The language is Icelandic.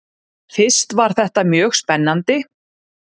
Fyrst var þetta mjög spennandi.